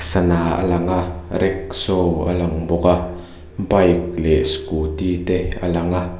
sana a lang a rackshaw a lang bawk a bike leh scooty te a lang a.